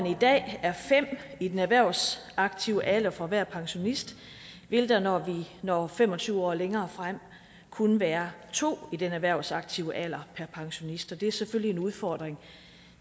i dag er fem i den erhvervsaktive alder for hver pensionist vil der når vi når fem og tyve år længere frem kun være to i den erhvervsaktive alder per pensionist det er selvfølgelig en udfordring